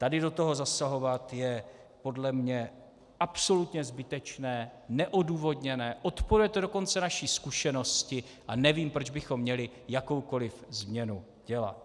Tady do toho zasahovat je podle mě absolutně zbytečné, neodůvodněné, odporuje to dokonce naší zkušenosti a nevím, proč bychom měli jakoukoliv změnu dělat.